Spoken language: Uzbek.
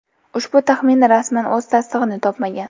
Ushbu taxmin rasman o‘z tasdig‘ini topmagan.